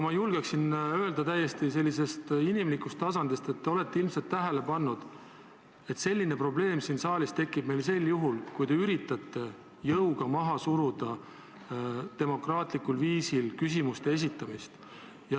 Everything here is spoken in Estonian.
Ma julgen öelda täiesti sellisest inimlikust tasandist lähtudes, et te olete ilmselt tähele pannud, et selline probleem tekib meil siin saalis juhul, kui te üritate jõuga maha suruda demokraatlikul viisil küsimuste esitamist.